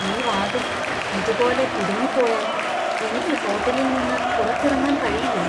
ഈ വാതിൽ ഇതുപോലെ കുടുങ്ങിപ്പോയാൽ എനിക്ക് ഹോട്ടലിൽ നിന്ന് പുറത്തിറങ്ങാൻ കഴിയില്ലെ?